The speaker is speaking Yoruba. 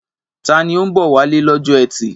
Ta ni ó ń bọ̀ wálé lọ́jọ́ ẹtì?